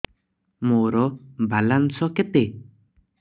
ମୋର ବାଲାନ୍ସ କେତେ